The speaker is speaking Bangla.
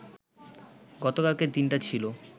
গতকালকের দিনটা ছিল